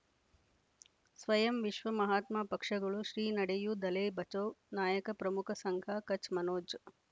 ಸ್ವಯಂ ವಿಶ್ವ ಮಹಾತ್ಮ ಪಕ್ಷಗಳು ಶ್ರೀ ನಡೆಯೂ ದಲೈ ಬಚೌ ನಾಯಕ ಪ್ರಮುಖ ಸಂಘ ಕಚ್ ಮನೋಜ್